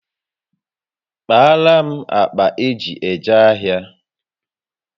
Kpaara m akpa eji eje ahịa